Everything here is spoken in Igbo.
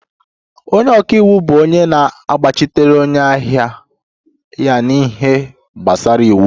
Onye ọka iwu bụ onye na-agbachitere onye ahịa ya n'ihe gbasara iwu